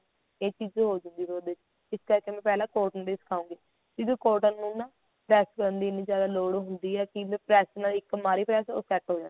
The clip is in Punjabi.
ਇਹ ਚੀਜ਼ ਹੋਜੂਗੀ ਫਿਰ ਉਹਦੇ ਚ ਇਸ ਕਰਕੇ ਥੋਨੂੰ ਮੈਂ cotton ਤੇ ਹੀ ਸਿਖਾਉਂਗੀ ਕਿਉਂਕਿ cotton ਨੂੰ ਨਾ ਪ੍ਰੇਸ ਕਰਨ ਦੀ ਇੰਨੀ ਜਿਆਦਾ ਲੋੜ ਹੁੰਦੀ ਕੀ ਆ ਕੀ ਵੀ ਪ੍ਰੇਸ ਨਾਲ ਇੱਕ ਮਾਰੀ ਪ੍ਰੇਸ ਉਹ set ਹੋ ਜਾਂਦਾ